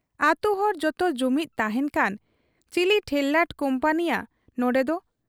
ᱟᱹᱛᱩᱦᱚᱲ ᱡᱚᱛᱚ ᱡᱩᱢᱤᱫᱽ ᱛᱟᱦᱮᱸᱱ ᱠᱷᱟᱱ ᱪᱤᱞᱤ ᱴᱷᱮᱨᱞᱟᱴ ᱠᱩᱢᱯᱟᱹᱱᱤᱭᱟᱹ ᱱᱚᱱᱰᱮᱫᱚ ᱾